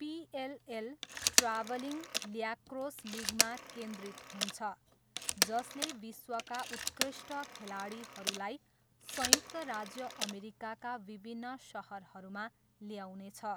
PLL travelling lacrosse लिगमा केन्द्रित हुन्छ जसले विश्वका उत्कृष्ट खेलाडीहरूलाई संयुक्त राज्य अमेरिकाका विभिन्न सहरहरूमा ल्याउनेछ।